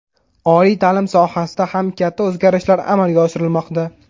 Oliy ta’lim sohasida ham katta o‘zgarishlar amalga oshirilmoqda.